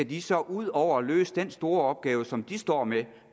de så ud over at løse den store opgave som de står med